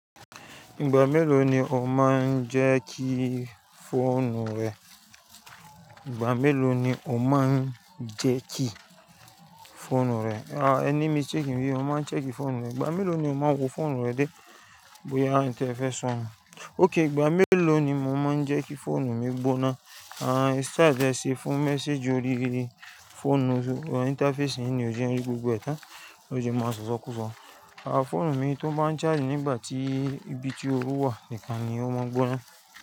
Ìgbà mélòó ni o máa ń jẹ́ kí fóònù rẹ? Ìgbà mélòó ni o máa ń jẹ́ kí fóònù rẹ? Ah ẹni míṣtekì ń bí ọ mo máa ń ṣeki fóònù mi. Ìgbà mélòó ni o máa ń wo fóònù rẹ dé bóyá àǹtí ẹ fẹ́ sọ̀? Okay ìgbà mélòó ni mo máa ń jẹ́ kí fóònù mi gbóná? Style tẹ ṣe fún message orí fóònù interface yìí ni ó jẹ́ orí gbogbo ẹ̀tàn ló jẹ́ máa ń sọ̀sọ̀ kú sọ. Fóònù mi tó bá ń charge nígbà tí ibi tí oru wà ìkànnì ó máa ń gbóná.